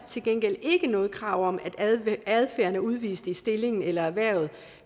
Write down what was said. til gengæld ikke noget krav om at adfærden er udvist i stillingen eller erhvervet